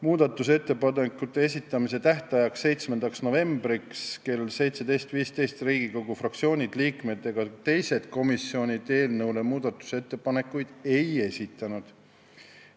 Muudatusettepanekute esitamise tähtajaks, 7. novembriks kella 17.15-ks Riigikogu fraktsioonid, liikmed ega teised komisjonid eelnõu kohta muudatusettepanekuid ei esitanud.